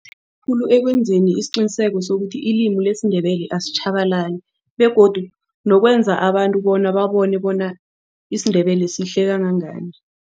Khulu ekwenzeni isiqiniseko sokuthi ilimi lesiNdebele asitjhabalali begodu nokwenza abantu bona babone bona isiNdebele sihle kangangani.